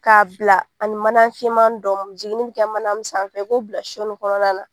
K'a bila ani mana finma dɔmi jiginni bɛ kɛ mana min sanfɛ i k'o bila shonin kɔnɔna na.